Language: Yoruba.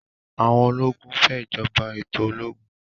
àwọn ológun fè ìjọba ètò ológun